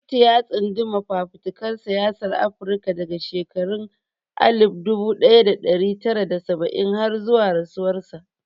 Kuti ya tsunduma fafutukar siyasar Afirka daga shekarun alif dubu daya da dari tara da saba'in har zuwa rasuwarsa.